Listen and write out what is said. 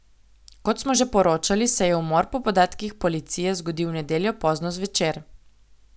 Kot smo že poročali, se je umor po podatkih policije zgodil v nedeljo pozno zvečer.